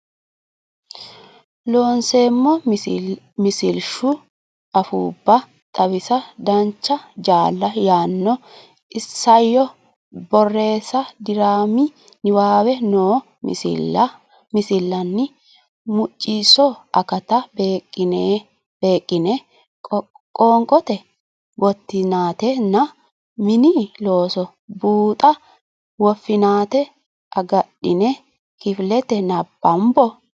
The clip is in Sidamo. Loonseemmo Misilshu Afuubba Xawisa Dancha Jaala yaanno Isayyo Borreessa diraami niwaawe noo misilaani Mucciso akata beeqqine qoonqote gottinaatenna Mini Looso Buuxa woffinaate agadhine kifilete nabbambo.